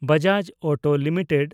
Bajaj auto limited